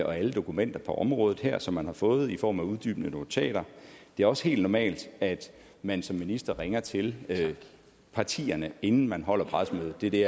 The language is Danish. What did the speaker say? og alle dokumenterne på området her som man har fået i form af uddybende notater det er også helt normalt at man som minister ringer til partierne inden man holder pressemødet det er det